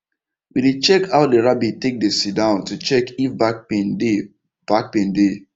we dey check how the rabbit take dey sit down to check if back pain dey back pain dey